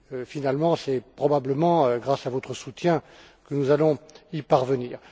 Finalement, c'est probablement grâce à votre soutien que nous allons y parvenir.